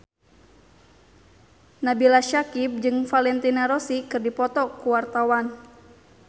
Nabila Syakieb jeung Valentino Rossi keur dipoto ku wartawan